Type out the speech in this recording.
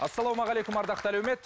ассалаумағалейкум ардақты әлеумет